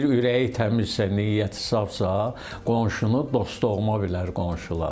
Deyir ürəyi təmizsə, niyyəti safsa, qonşunu dost-doğma bilər qonşular.